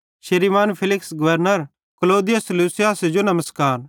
श्रीमान Felix governor Claudius लूसियासे जो नमस्कार